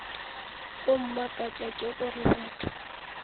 go mmakatša ke gore batho